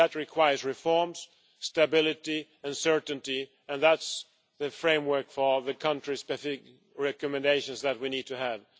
That requires reforms, stability and certainty, and that is the framework for the country specific recommendations that we need to have.